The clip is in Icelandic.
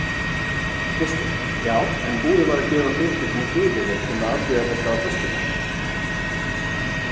Kristinn: Já en var búið að gefa fyrirtækinu fyrirheit um að afgreiða þetta á föstudaginn?